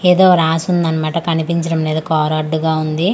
ఎదో రాసుందన మాట కనిపించడం లేదు కార్ అడ్డుగా ఉంది.